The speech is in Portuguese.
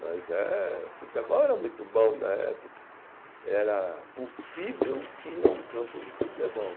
Mas é, futebol era muito bom na época, era possível ir a um campo de futebol.